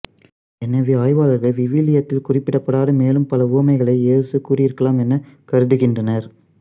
எனவே ஆய்வாளர்கள் விவிலியத்தில் குறிப்பிடப்படாத மேலும் பல உவமைகளை இயேசு கூறியிருக்கலாம் என கருதுகின்றனர்